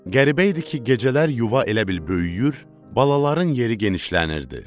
Qəribə idi ki, gecələr yuva elə bil böyüyür, balaların yeri genişlənirdi.